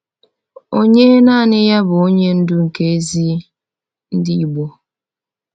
Onye naanị ya bụ Onye Ndu nke ezi ndị Igbo?